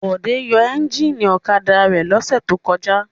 Bọ̀dé yóò ẹ́ńjínì ọ̀kadà rẹ̀ lọ́sẹ̀ tó kọjá.